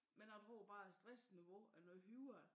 Men jeg tror bare at stress niveau er noget højere